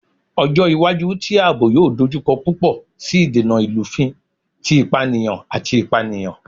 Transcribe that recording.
Ọjọ iwaju ti aabo yoo dojukọ pupọ si idena ilufin ti ipaniyan ati ipaniyan